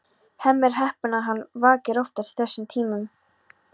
Hemmi er heppinn að hann vakir oftast í þessum tímum.